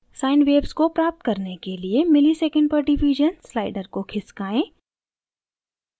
sine waves को प्राप्त करने के लिए msec/div slider को खिसकाएँ